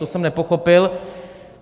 To jsem nepochopil.